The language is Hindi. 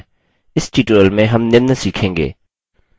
इस tutorial में हम निम्न सीखेंगे: